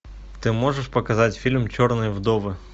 ты можешь показать фильм черные вдовы